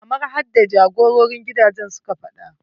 Kamar yaddai jagororin gidaje suka faɗa.